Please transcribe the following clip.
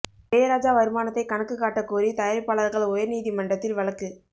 இளையராஜா வருமானத்தை கணக்கு காட்ட கோரி தயாரிப்பாளர்கள் உயர் நீதிமன்றத்தில் வழக்கு